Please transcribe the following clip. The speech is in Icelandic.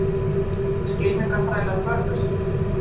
skylmingaþrælar börðust